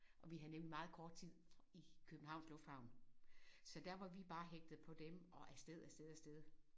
Og vi havde nemlig meget kort tid i Københavns lufthavn så der vi var bare hægtet på dem og afsted afsted afsted